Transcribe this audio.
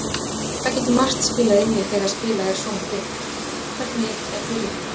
Það getur margt spilað inn í þegar spilað er svona þétt: Hvernig er byrjunin?